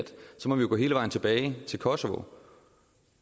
så må vi jo gå hele vejen tilbage til kosovo